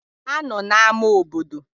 Ha nọ n'ámá obodo?